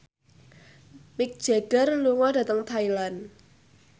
Mick Jagger lunga dhateng Thailand